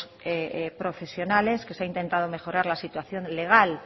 profesionales que se ha intentado mejorar la situación legal